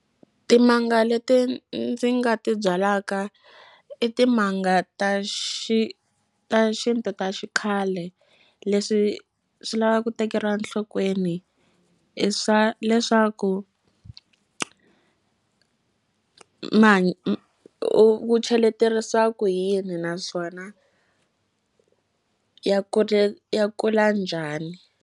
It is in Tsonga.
Timanga leti ndzi nga ti byalaka i timanga ta ta xinto ta xikhale leswi swi lavaka ku tekeriwa nhlokweni i swa leswaku u u cheleterisa ku yini naswona ya ya kula njhani.